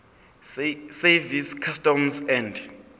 service customs and